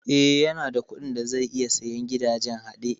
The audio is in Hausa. Eh, yanada kuɗin da zai iya sayen gidajen haɗe